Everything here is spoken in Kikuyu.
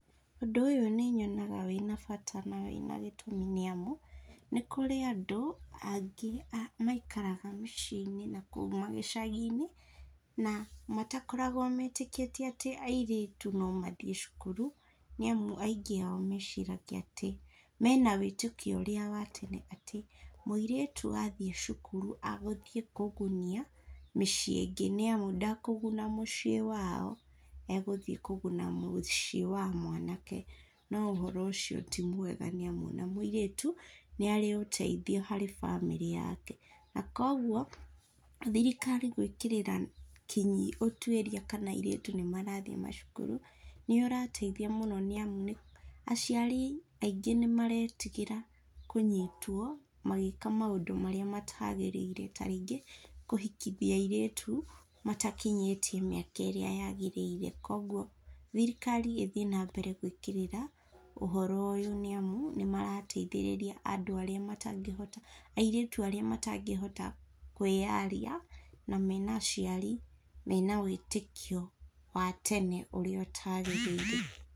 Ũndũ ũyũ nĩ nyonaga wĩna bata na gĩtũmi nĩ amu, nĩ kũrĩ andũ angĩ maikaraga mĩciĩ-inĩ nakũu magĩcagi-inĩ, na matakoragwo meetĩkĩtie atĩ airĩtu no mathiĩ cukuru nĩ amu aingĩ ao meciragia atĩ, mena wĩtĩkio ũrĩa wa tene atĩ, mũirĩtu athiĩ cukuru, agũthiĩ kũgunia miciĩ ĩngĩ nĩ amu, ndakũguna mũciĩ wao, egũthiĩ kũguna mũciĩ wa mwanake. No ũhoro ũcio ti mwega nĩ amu, o na mũirĩtu nĩ arĩ ũteithio harĩ bamĩrĩ yake. Na kwoguo, thirikari gũĩkĩrĩra kinyi ũtuĩria kana airĩtu nĩ marathiĩ macukuru nĩ ũrateithia mũno nĩ amu, aciari aingĩ nĩ mareetigĩra kũnyitwo magĩĩka maũndũ marĩa mataagĩrĩire ta rĩngĩ, kũhikithia airĩtu matakinyĩtie mĩaka ĩrĩa yaagĩrĩire. Kwoguo thirikari ĩthiĩ nambere kũingĩrĩra ũhoro ũyũ, nĩ amu, nĩ marateithĩrĩria andũ arĩa matangĩhota, airĩtu arĩa matangĩhota kwĩyaria na mena aciari mena wĩtĩkio wa tena ũrĩa ũtaagĩrĩire.